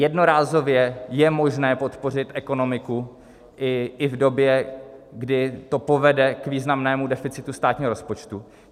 Jednorázově je možné podpořit ekonomiku i v době, kdy to povede k významnému deficitu státního rozpočtu.